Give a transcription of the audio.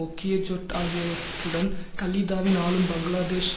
ஒக்கிய ஜொட் ஆகியவற்றுடன் கலீதாவின் ஆளும் பங்களாதேஷ்